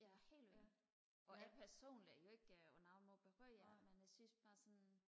ja helt vildt og personligt er det jo ikke sådan noget jeg behøver men jeg synes bare sådan